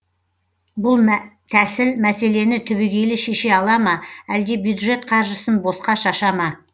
бұл тәсіл мәселені түбегейлі шеше ала ма әлде бюджет қаржысын босқа шаша ма